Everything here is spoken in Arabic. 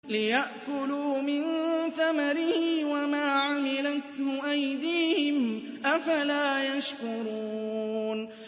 لِيَأْكُلُوا مِن ثَمَرِهِ وَمَا عَمِلَتْهُ أَيْدِيهِمْ ۖ أَفَلَا يَشْكُرُونَ